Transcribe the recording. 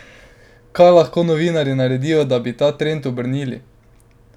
Kaj lahko novinarji naredijo, da bi ta trend obrnili?